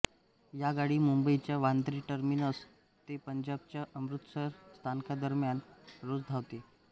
ही गाडी मुंबईच्या वांद्रे टर्मिनस ते पंजाबच्या अमृतसर स्थानकांदरम्यान रोज धावते